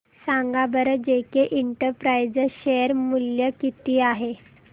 सांगा बरं JK enterprises share मूल्य किती आहे